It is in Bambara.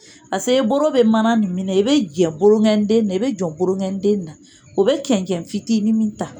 Pase i boro bɛ mana nin minɛ i bɛ jɛn boroŋɛnden nin na i bɛ jɔn boroŋɛnden nin na o bɛ cɛncɛn fitini min ta